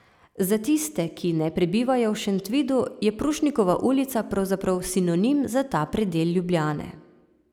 Za tiste, ki ne prebivajo v Šentvidu, je Prušnikova ulica pravzaprav sinonim za ta predel Ljubljane.